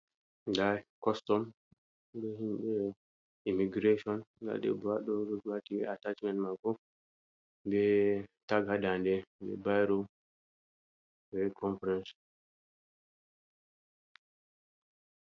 Nga costom be himɓɓe immigration, nda ɗebbo ha ɗo oɗo wati attachment mako, be tag ha dande be bairo, be conference.